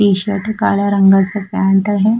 T shirt काळ्या रंगाचा pant आहे.